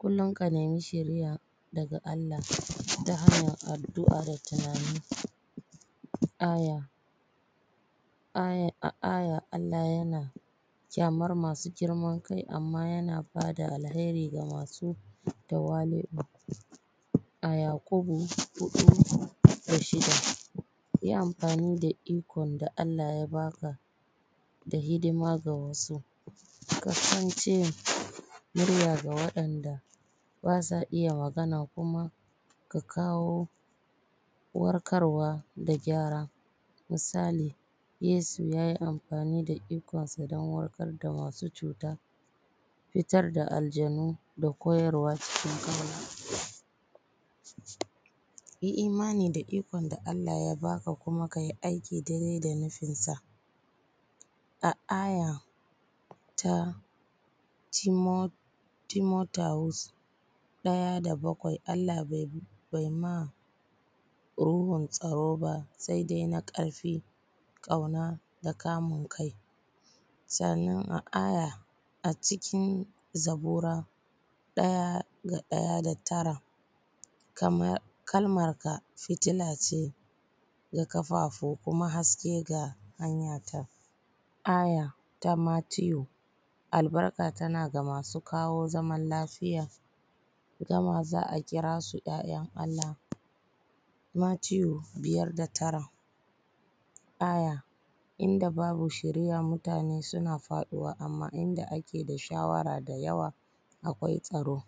kullum ka nemi shiriya daga Allah, ta hanyar addu’a da tunani ayar ayara ayar Allah yana ƙyamar masu girman kai amman yana bada alkairi ga masu tawali’u, a yakubu4&6, ”yi amfani da ikon da Allah ya baka da hidima ga wasu, kasance murya ga waɗanda basa iya magana, kuma ka kawo warkarwa da gyara misali, Yesu yayi amfani da ikon sa don warkar da masu cuta, fitar da alljanu da koyarwa cikin kabari. Yi imani da ikon da Allah ya baka kuma kayi aiki dai-dai da nufin sa, a aya ta Timothiaus “Allah bai ma ruhun tsaro ba sai dai na ƙarfi ƙauna da kamun kai” sannan a aya ta acikin zabbura 1:1:9, “Kalmar ka fitila ce ga kafafu kuma haske ga hanyata” aya ta Mathew “albarka tana ga masu kawo zaman lafiya, ita ma za a kira su ‘ya’yan Allah” Mathew 5:9, aya “inda babu shiriya, mutane suna faɗuwa amman inda ake da shawara da yawa akwai tsaro”.